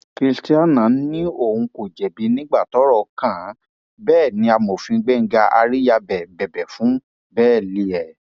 christianah ní òun kò jẹbi nígbà tọrọ kàn án bẹẹ ni amòfin gbéńgá àríyábẹ bẹbẹ fún bẹẹlì ẹ